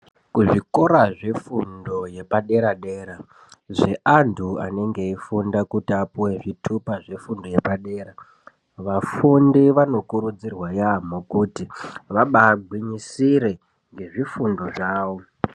Kuzvikora yefundo yepadera dera zveantu anenge eifunda kuti apuwe zvitupa zvefundo yepadera .Vafundi vanokurudzirwa yamho kuti vabagwinyisire ngezvifundo zvawo.